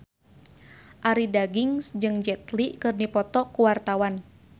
Arie Daginks jeung Jet Li keur dipoto ku wartawan